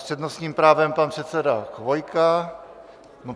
S přednostním právem pan předseda Chvojka.